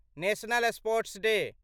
national sports day